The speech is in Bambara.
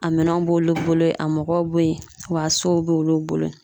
A minɛnw b'olu bolo yen, a mɔgɔw be yen wa a sow b'olu bolo yen.